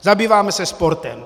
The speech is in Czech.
Zabýváme se sportem.